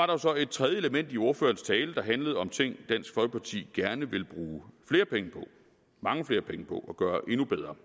der så et tredje element i ordførerens tale som handlede om ting dansk folkeparti gerne vil bruge flere penge på mange flere penge og gøre endnu bedre